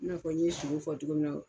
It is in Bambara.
N'a fɔ n ye sogo fɔ cogo min na